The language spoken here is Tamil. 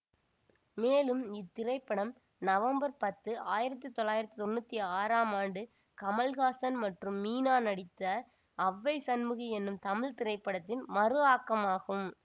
மேலும் இத்திரைப்படம் நவம்பர் பத்து ஆயிரத்தி தொள்ளாயிரத்தி தொன்னூற்தி ஆறாம் ஆண்டு கமல்ஹாசன் மற்றும் மீனா நடித்த அவ்வை சண்முகி என்னும் தமிழ் திரைப்படத்தின் மறுஆக்கமாகும்